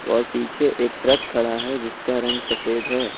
और पीछे एक ट्रक खड़ा है जिसका रंग सफेद है।